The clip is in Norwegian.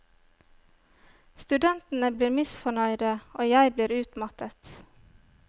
Studentene blir misfornøyde og jeg blir utmattet.